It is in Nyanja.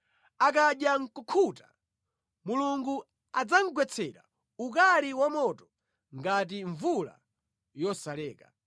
Akadya nʼkukhuta, Mulungu adzamugwetsera ukali wamoto ngati mvula yosalekeza.